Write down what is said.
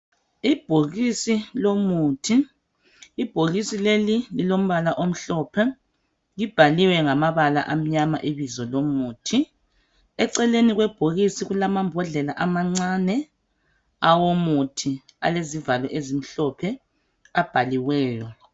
Ibhokisi lomuthi. Ibhokisi leli lilombala omhlophe, libhaliwe ngamabala amnyama ibizo lomuthi. Eceleni kwebhokisi kulamambodlela amancane awomuthi, alezivalo ezimhlophe, abhaliweyo.